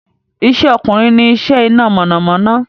Ìṣẹ́ ọkùnrin ní iṣẹ́ iná mọ̀namọ́ná